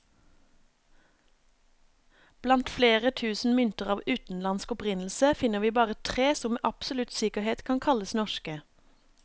Blant flere tusen mynter av utenlandsk opprinnelse, finner vi bare tre som med absolutt sikkerhet kan kalles norske.